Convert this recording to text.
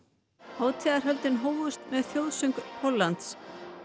hátíðarhöldin hófust með þjóðsöng Póllands